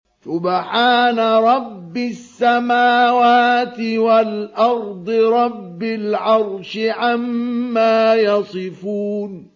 سُبْحَانَ رَبِّ السَّمَاوَاتِ وَالْأَرْضِ رَبِّ الْعَرْشِ عَمَّا يَصِفُونَ